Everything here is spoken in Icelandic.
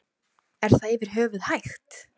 Er það yfir höfuð hægt?